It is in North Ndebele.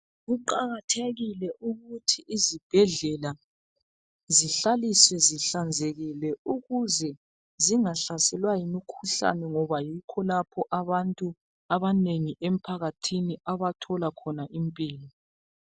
Kuqakathekile ukuthi izibhedlela zihlaliswe zihlanzekile ukuze zingahlaselwa yimikhuhlane ngoba yikho lapho abantu abanengi emphakathini abathola khona impilo.